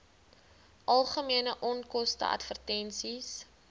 algemene onkoste advertensies